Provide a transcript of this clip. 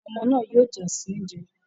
Àwọn ọmọ náà yóò jà sí oúnjẹ.